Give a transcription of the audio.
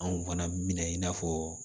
Anw fana mina i n'a fɔ